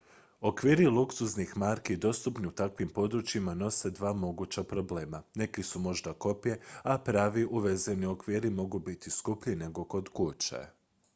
okviri luksuznih marki dostupni u takvim područjima nose dva moguća problema neki su možda kopije a pravi uvezeni okviri mogu biti skuplji nego kod kuće